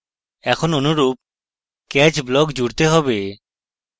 এখন অনুরূপ catch block জুড়তে have